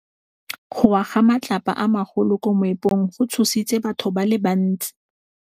Go wa ga matlapa a magolo ko moepong go tshositse batho ba le bantsi.